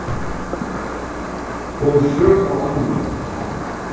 Kom sök á annan